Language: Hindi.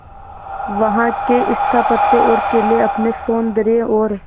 वहां के स्थापत्य और किले अपने सौंदर्य और